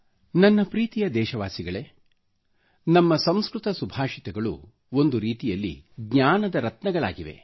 ನನ್ನ ಪ್ರೀತಿಯ ದೇಶವಾಸಿಗಳೇ ನಮ್ಮ ಸಂಸ್ಕೃತ ಸುಭಾಷಿತಗಳು ಒಂದು ರೀತಿಯಲ್ಲಿ ಜ್ಞಾನದ ರತ್ನಗಳಾಗಿವೆ